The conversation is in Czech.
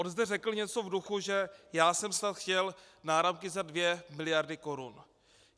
On zde řekl něco v duchu, že já jsem snad chtěl náramky za dvě miliardy korun.